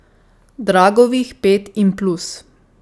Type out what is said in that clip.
Dragovih pet in plus.